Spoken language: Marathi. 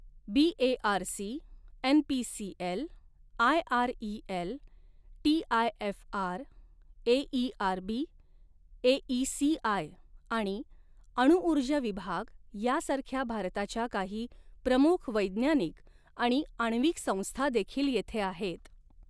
BARC, NPCL, IREL, TIFR, AERB, AECI आणि अणुऊर्जा विभाग यासारख्या भारताच्या काही प्रमुख वैज्ञानिक आणि आण्विक संस्था देखील येथे आहेत.